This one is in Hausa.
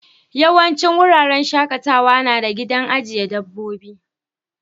Yawancin wuraren shakatawa na da gidan ajiye dabbobi.